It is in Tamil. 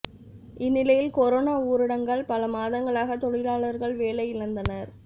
இந்நிலையில் கொரோனா ஊரடங்கால் பல மாதங்களாக தொழிலாளர்கள் வேலை இழந்தனர்